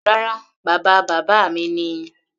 Rárá, bàba bàbá mi ni.